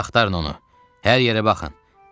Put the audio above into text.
Hər yerə baxın.